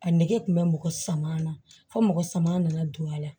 A nege kun bɛ mɔgɔ sama na fo mɔgɔ sama nana don a la